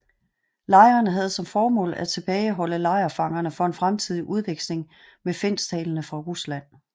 Lejrene havde som formål at tilbageholde lejrfangerne for en fremtidig udveksling med finsktalende fra Rusland